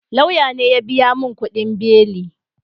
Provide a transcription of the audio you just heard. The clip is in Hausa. Lauya ne ya biya mun kudin beli